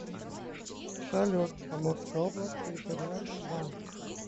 салют амурская область территориальный банк